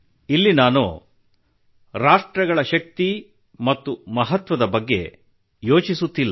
ಇಲ್ಲಿ ನಾನು ರಾಷ್ಟ್ರಗಳ ಶಕ್ತಿ ಮತ್ತು ಮಹತ್ವದ ಬಗ್ಗೆ ಯೋಚಿಸುತ್ತಿಲ್ಲ